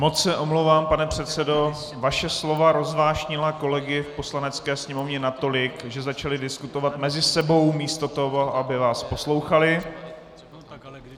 Moc se omlouvám, pane předsedo, vaše slova rozvášnila kolegy v Poslanecké sněmovně natolik, že začali diskutovat mezi sebou místo toho, aby vás poslouchali.